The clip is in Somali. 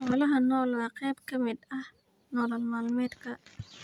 Xoolaha nool waa qayb ka mid ah nolol maalmeedka.